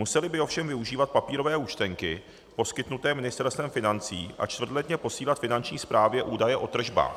Museli by ovšem využívat papírové účtenky poskytnuté Ministerstvem financí a čtvrtletně posílat Finanční správě údaje o tržbách.